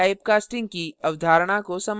हम अब typecasting की अवधारणा को समझते हैं